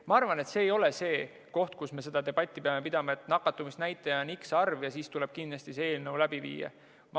Ma arvan, et see ei ole see koht, kus me seda debatti peame pidama, et nakatumisnäitaja on x arv ja siis tuleb kindlasti see eelnõu läbi viia.